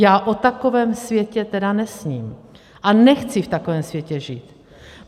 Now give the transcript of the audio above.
Já o takovém světě tedy nesním a nechci v takovém světě žít.